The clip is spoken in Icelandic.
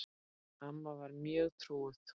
Amma var mjög trúuð kona.